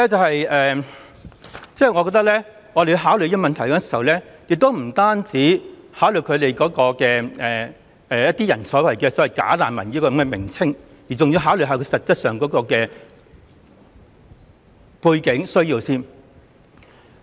所以，我認為我們考慮這個問題時，不單要考慮一些人所謂的"假難民"的問題，更要考慮他們實際上的背景和需要。